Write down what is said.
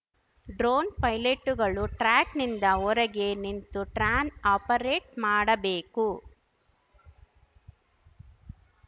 drone ಪೈಲೆಟ್ಟುಗಳು track ನಿಂದ ಹೊರಗೆ ನಿಂತು ಟ್ರಾನ್‌ ಆಪರೇಟ್‌ ಮಾಡಬೇಕು